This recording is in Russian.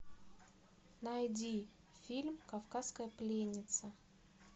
найди фильм кавказская пленница